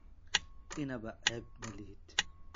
Innaba ceeb ma lihid.